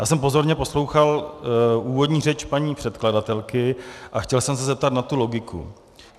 Já jsem pozorně poslouchal úvodní řeč paní předkladatelky a chtěl jsem se zeptat na tu logiku.